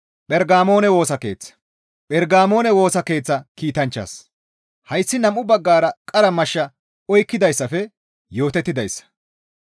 Phergamoone Woosa Keeththa kiitanchchaas, «Hayssi nam7u baggara qara mashsha oykkidayssafe yootettidayssa.